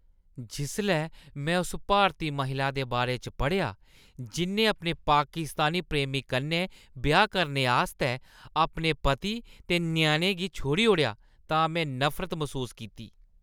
जिसलै में उस भारती महिला दे बारे च पढ़ेआ जि'न्नै अपने पाकिस्तानी प्रेमी कन्नै ब्याह् करने आस्तै अपने पति ते ञ्याणें गी छोड़ी ओड़ेआ तां में नफरत मसूस कीती।